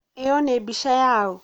ĩyo nĩ mbica yaũ